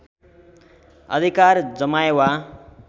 अधिकार जमाए वा